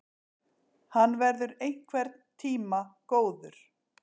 Hann verður einhvern tíma góður!